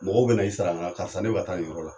Mɔgɔ bɛna i sara n na karixa, ne bɛ ka taa nin yɔrɔ la.